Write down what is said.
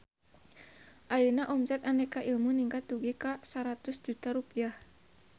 Ayeuna omset Aneka Ilmu ningkat dugi ka 100 juta rupiah